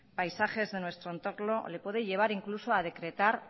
paisajes de nuestro entorno le puede llevar incluso a decretar